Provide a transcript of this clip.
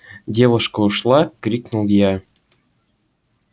девушка ушла крикнул я